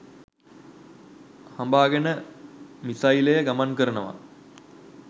හඹාගෙන මිසයිලය ගමන් කරනවා